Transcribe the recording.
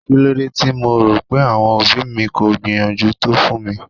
Kílódé tí mo rò pé àwọn òbí mi kò gbìyànjú tó fún mi?